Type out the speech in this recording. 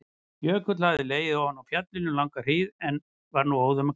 Jökull hefur legið ofan á fjallinu um langa hríð en er nú óðum að hverfa.